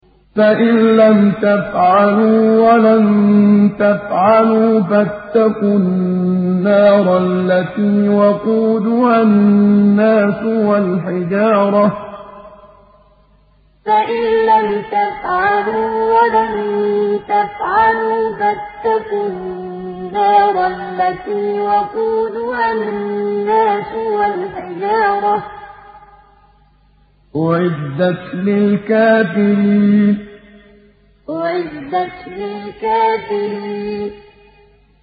فَإِن لَّمْ تَفْعَلُوا وَلَن تَفْعَلُوا فَاتَّقُوا النَّارَ الَّتِي وَقُودُهَا النَّاسُ وَالْحِجَارَةُ ۖ أُعِدَّتْ لِلْكَافِرِينَ فَإِن لَّمْ تَفْعَلُوا وَلَن تَفْعَلُوا فَاتَّقُوا النَّارَ الَّتِي وَقُودُهَا النَّاسُ وَالْحِجَارَةُ ۖ أُعِدَّتْ لِلْكَافِرِينَ